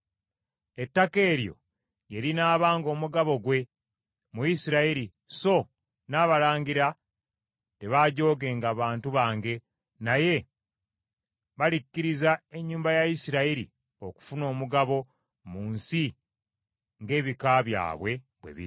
Ettaka eryo lye linaabanga omugabo gwe mu Isirayiri so n’abalangira tebaajoogenga bantu bange naye balikkiriza ennyumba ya Isirayiri okufuna omugabo mu nsi ng’ebika byabwe bwe biri.’